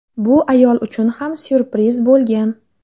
Bu ayol uchun ham syurpriz bo‘lgan.